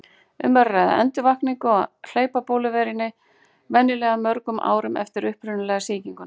Um er að ræða endurvakningu á hlaupabóluveirunni, venjulega mörgum árum eftir upprunalegu sýkinguna.